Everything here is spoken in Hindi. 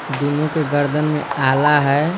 दोनों के गर्दन में आला है।